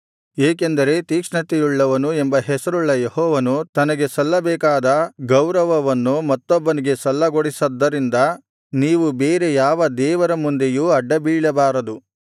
ಏಕೆಂದರೆ ತೀಕ್ಷ್ಣತೆಯುಳ್ಳವನು ಎಂಬ ಹೆಸರುಳ್ಳ ಯೆಹೋವನು ತನಗೆ ಸಲ್ಲಬೇಕಾದ ಗೌರವವನ್ನು ಮತ್ತೊಬ್ಬನಿಗೆ ಸಲ್ಲಗೊಡಿಸದ್ದರಿಂದ ನೀವು ಬೇರೆ ಯಾವ ದೇವರ ಮುಂದೆಯೂ ಅಡ್ಡಬೀಳಬಾರದು